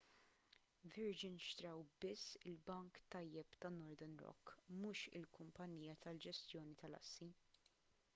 virgin xtraw biss il-'bank tajjeb' ta' northern rock mhux il-kumpanija tal-ġestjoni tal-assi